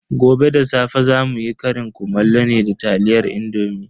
Gobe da safe zamu yi ƙarin kumallo ne da taliyar indomi.